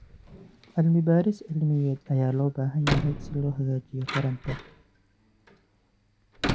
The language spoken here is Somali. Cilmi-baaris cilmiyeed ayaa loo baahan yahay si loo hagaajiyo taranta.